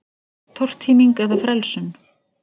Tortíming eða frelsun?